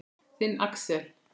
Þinn, Axel.